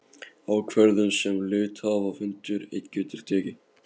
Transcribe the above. ákvörðun sem hluthafafundur einn getur tekið.